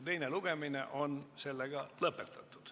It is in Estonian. Teine lugemine ongi lõpetatud.